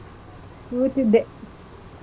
ಕೂತಿದ್ದೆ.